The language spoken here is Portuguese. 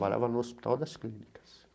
Trabalhava no Hospital das Clínicas.